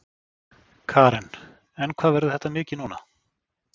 Karen: En hvað verður þetta mikið núna?